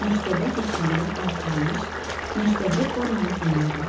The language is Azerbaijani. Məktəbə getməyimə az qalmış, məktəbli formamı geyinirəm.